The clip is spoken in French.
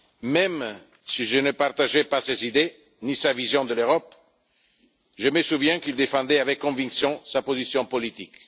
Même si je ne partageais pas ses idées ni sa vision de l'Europe, je me souviens qu'il défendait avec conviction sa position politique.